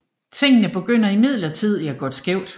Tingene begynder imidlertid at gå skævt